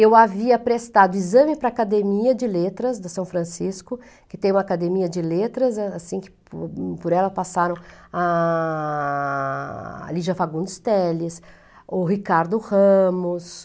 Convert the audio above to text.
Eu havia prestado exame para a Academia de Letras de São Francisco, que tem uma academia de letras, assim que por por ela passaram a a a Lígia Fagundes Teles, o Ricardo Ramos...